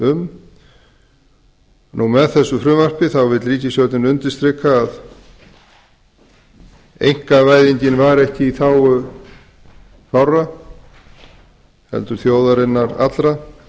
um með þessu frumvarpi vill með þessu frumvarpi vill ríkisstjórnin undirstrika að einkavæðingin var ekki í þágu fárra heldur þjóðarinnar allrar